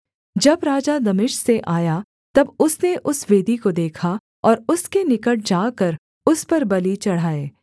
जब राजा दमिश्क से आया तब उसने उस वेदी को देखा और उसके निकट जाकर उस पर बलि चढ़ाए